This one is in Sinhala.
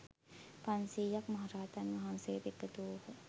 පන්සියයක් මහ රහතන් වහන්සේ ද එකතු වූහ.